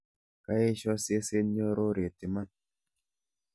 Kaesho seset nyororet iman.